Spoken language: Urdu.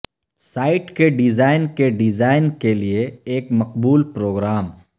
سائٹ کے ڈیزائن کے ڈیزائن کے لئے ایک مقبول پروگرام